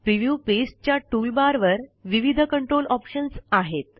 preview पेजच्या tool bar वर विविध कंट्रोल ऑप्शन्स आहेत